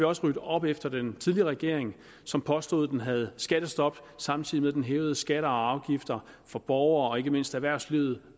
også rydde op efter den tidligere regering som påstod den havde skattestop samtidig med at den hævede skatter og afgifter for borgere og ikke mindst erhvervslivet